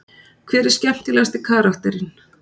Hver er skemmtilegasti karakterinn?